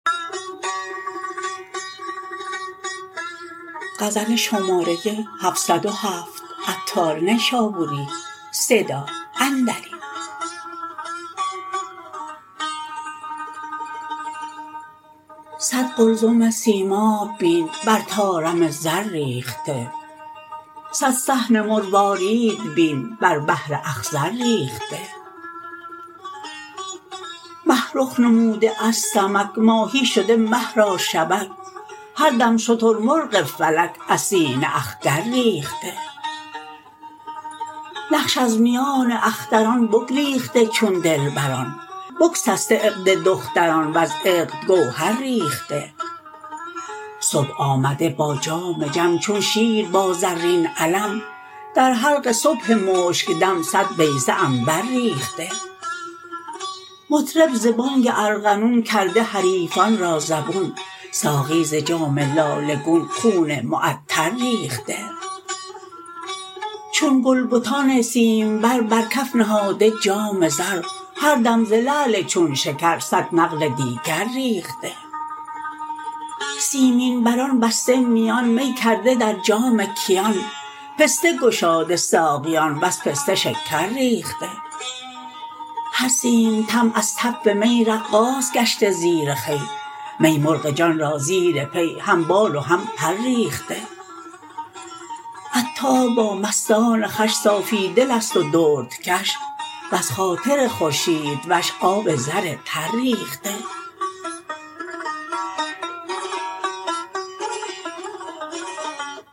صد قلزم سیماب بین بر طارم زر ریخته صد صحن مروارید بین بر بحر اخضر ریخته مه رخ نموده از سمک ماهی شده مه را شبک هر دم شترمرغ فلک از سینه اخگر ریخته نقش از میان اختران بگریخته چون دلبران بگسسته عقد دختران وز عقد گوهر ریخته صبح آمده با جام جم چون شیر با زرین علم در حلق صبح مشک دم صد بیضه عنبر ریخته مطرب ز بانگ ارغنون کرده حریفان را زبون ساقی ز جام لاله گون خون معطر ریخته چون گل بتان سیمبر بر کف نهاده جام زر هر دم ز لعل چون شکر صد نقل دیگر ریخته سیمین بران بسته میان می کرده در جام کیان پسته گشاده ساقیان وز پسته شکر ریخته هر سیمتن از تف می رقاص گشته زیر خوی می مرغ جان را زیر پی هم بال و هم پر ریخته عطار با مستان خوش صافی دل است و دردکش وز خاطر خورشید وش آب زر تر ریخته